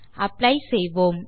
apply செய்வோம்